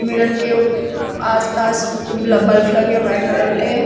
Mirror के ऊ आस पास बल्ब लगे हैं व्हाइट कलर के।